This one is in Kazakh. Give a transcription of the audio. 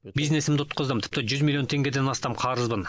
бизнесімді ұтқыздым тіпті жүз миллионнан теңгеден астам қарызым бар